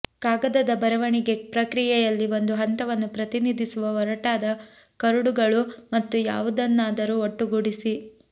ಕಾಗದದ ಬರವಣಿಗೆ ಪ್ರಕ್ರಿಯೆಯಲ್ಲಿ ಒಂದು ಹಂತವನ್ನು ಪ್ರತಿನಿಧಿಸುವ ಒರಟಾದ ಕರಡುಗಳು ಮತ್ತು ಯಾವುದನ್ನಾದರೂ ಒಟ್ಟುಗೂಡಿಸಿ